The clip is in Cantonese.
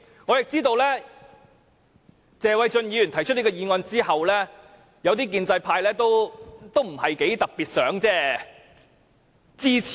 我知道在謝議員提出議案後，部分建制派議員也不是特別想支持。